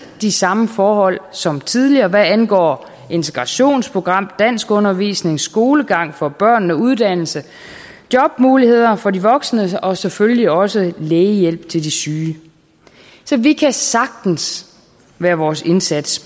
de samme forhold som tidligere hvad angår integrationsprogram danskundervisning skolegang for børnene og uddannelse jobmuligheder for de voksne og selvfølgelig også lægehjælp til de syge så vi kan sagtens være vores indsats